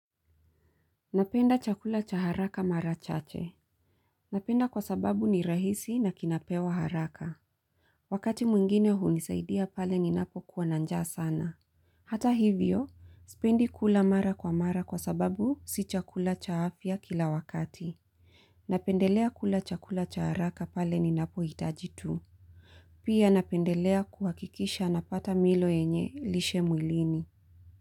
Napenda chakula cha haraka mara chache. Napenda kwa sababu ni rahisi na kinapewa haraka. Wakati mwingine hunisaidia pale ninapokuwa na njaa sana. Hata hivyo, spendi kula mara kwa mara kwa sababu si chakula cha afya kila wakati. Napendelea kula chakula cha haraka pale ninapohitaji tu. Pia napendelea kuhakikisha napata milo yenye lishe mwilini.